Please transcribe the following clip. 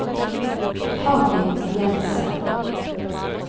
Harry Jenssen